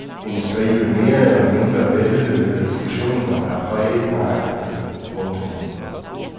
En stribe mere eller mindre vellykkede fusioner har præget markedet. punktum